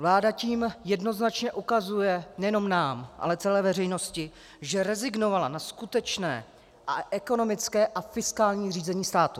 Vláda tím jednoznačně ukazuje nejenom nám, ale celé veřejnosti, že rezignovala na skutečné ekonomické a fiskální řízení státu.